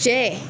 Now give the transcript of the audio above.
Cɛ